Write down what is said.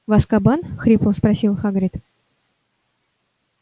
в азкабан хрипло спросил хагрид